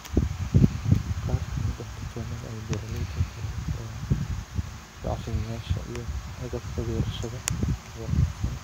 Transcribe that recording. Qaar ka mid ah dukaamada ay beeraleydu ka heli karaan bacrimiyeyaasha iyo agabka beerashada wanaagsan.